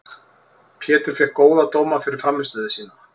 Pétur fékk góða dóma fyrir frammistöðu sína.